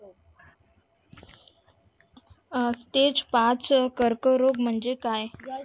कर्करोग म्हणजे काय?